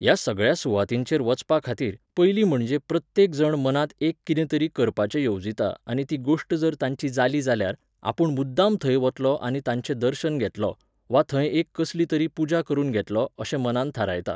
ह्या सगळ्या सुवातींचेर वचपाखातीर, पयलीं म्हणजे प्रत्येक जण मनांत एक कितें तरी करपाचें येवजिता आनी ती गोश्ट जर तांची जाली जाल्यार, आपूण मुद्दाम थंय वतलों आनी ताचें दर्शन घेतलों, वा थंय एक कसली तरी पुजा करून घेतलों अशें मनांत थारायता.